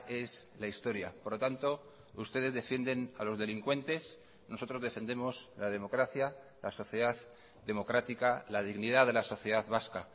es la historia por lo tanto ustedes defienden a los delincuentes nosotros defendemos la democracia la sociedad democrática la dignidad de la sociedad vasca